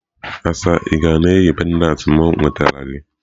Asa ị ka na-eyi pendant m nwetara gị?